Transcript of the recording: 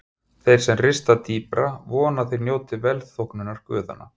Þeir sem rista dýpra vona að þeir njóti velþóknunar guðanna.